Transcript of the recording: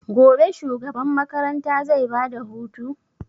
Gobe shugaban makaranta zai ba da hutu?